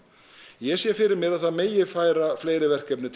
ég sé fyrir mér að það megi færa fleiri verkefni til